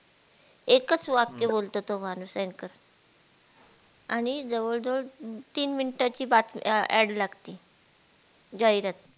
एकच वाक्य बोलतो तो माणूस anchor आणि जवळ जवळ तीन minute ची बातम अं Ad लागती जाहिरात